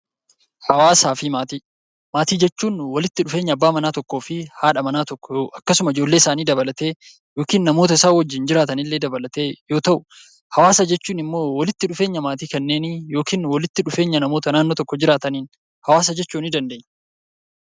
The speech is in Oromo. Hawaasaa fi Maatii Maatii jechuun walitti dhufeenya abbaa manaa tokkoo fi haadha manaa tokkoo akkasuma ijoollee isaanii dabalatee yookiin namoota isaan wajjin jiraatanillee dabalatee yoo ta'u; Hawaasa jechuun immoo walitti dhufeenya maatii kanneenii yookiin walitti dhufeenya namoota naannoo tokkoo jiraataniin 'Hawaasa' jechuu dandeenya.